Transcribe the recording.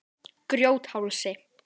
Grjóthálsi